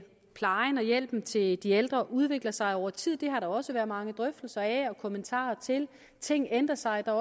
plejen og hjælpen til de ældre udvikler sig over tid det har der også været mange drøftelser af og kommentarer til ting ændrer sig og